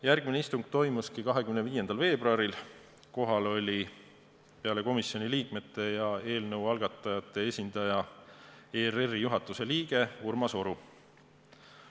Järgmine istung toimus 25. veebruaril, kohal oli peale komisjoni liikmete ja eelnõu algatajate esindaja ERR-i juhatuse liige Urmas Oru.